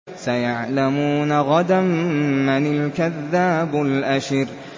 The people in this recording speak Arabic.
سَيَعْلَمُونَ غَدًا مَّنِ الْكَذَّابُ الْأَشِرُ